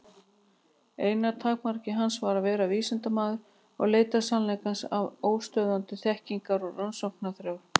Eina takmark hans var að vera vísindamaður og leita sannleikans af óstöðvandi þekkingar- og rannsóknarþrá.